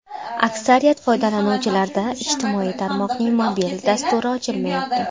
Aksariyat foydalanuvchilarda ijtimoiy tarmoqning mobil dasturi ochilmayapti.